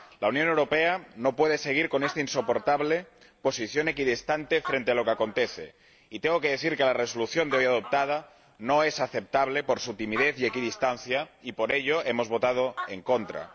La Unión Europea no puede seguir con esta insoportable posición equidistante frente a lo que acontece, y tengo que decir que la Resolución hoy aprobada no es aceptable por su timidez y equidistancia y por ello hemos votado en contra.